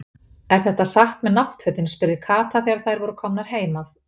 Er þetta satt með náttfötin? spurði Kata þegar þær voru komnar heim að